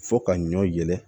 Fo ka ɲɔ yɛlɛ